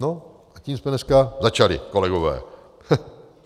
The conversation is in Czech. No a tím jsme dneska začali, kolegové.